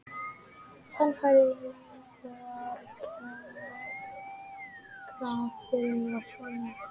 Sannfæringarkrafturinn var svo mikill.